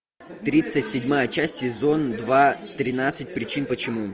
тридцать седьмая часть сезон два тринадцать причин почему